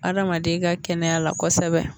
Adamaden ka kɛnɛya la kosɛbɛ.